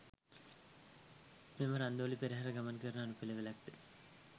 මෙම රන්දෝලි පෙරහර ගමන් කරන අනුපිළිවෙලක් ද